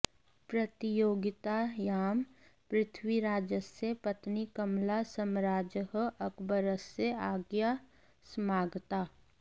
प्रतियोगितायां पृथ्वीराजस्य पत्नी कमला सम्राजः अकबरस्य आज्ञया समागता